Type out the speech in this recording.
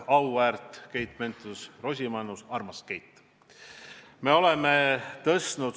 Auväärt Keit Pentus-Rosimannus, armas Keit!